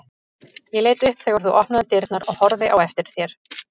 Ég leit upp þegar þú opnaðir dyrnar og horfði á eftir þér.